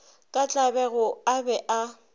ka tlabego a be a